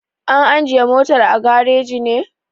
An ajiye motar a gareji ne?